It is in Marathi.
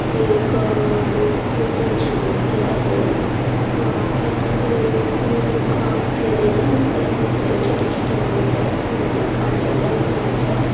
हे एक अ बुद्धांची मूर्ति आहे. अ परत ते कोरीव काम केलेलय त्यांनी सगळ्या छोट्या छोट्या मुर्त्या साइड ला काढलेल्याय. त्यांच्या--